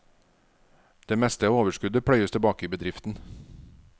Det meste av overskuddet pløyes tilbake i bedriften.